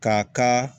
K'a ka